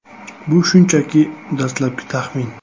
Bu shunchaki dastlabki taxmin.